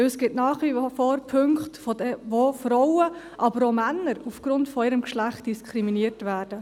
Denn es gibt nach wie vor Punkte, wodurch Frauen, aber auch Männer aufgrund ihres Geschlechts diskriminiert werden.